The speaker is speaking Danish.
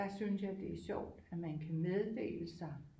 Der synes jeg det er sjovt at man kan meddele sig